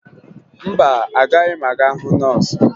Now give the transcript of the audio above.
Mba, agaghị m aga hụ nọọsụ